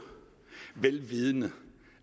vel vidende